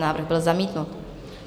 Návrh byl zamítnut.